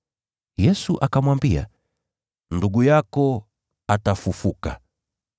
Yesu akamwambia, “Ndugu yako atafufuka.”